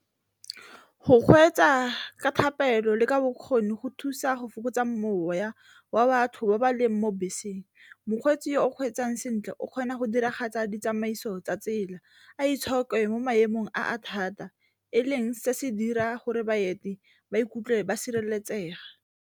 Go kgweetsa ka thapelo le ka bokgoni go thusa go fokotsa moya wa batho ba ba leng mo beseng, mokgweetsi yo o kgweetsang sentle o kgona go diragatsa ditsamaiso tsa tsela, a itshoke mo maemong a a thata e leng se se dira gore baeti ba ikutlwe ba sireletsega.